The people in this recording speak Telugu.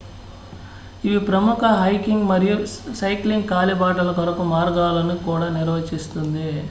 ఇవి ప్రముఖ హైకింగ్ మరియు సైక్లింగ్ కాలిబాటల కొరకు మార్గాలను కూడా నిర్వచిస్తుంది